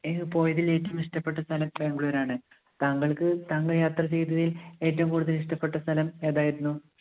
എനിക്ക് പോയതിൽ ഏറ്റവും ഇഷ്ടപ്പെട്ട സ്ഥലം ബാംഗ്ലൂരാണ്. താങ്കൾക്ക് താങ്കൾ യാത്ര ചെയ്തതിൽ ഏറ്റവും കൂടുതൽ ഇഷ്ടപ്പെട്ട സ്ഥലം ഏതായിരുന്നു?